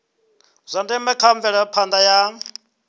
zwa ndeme kha mvelaphanda ya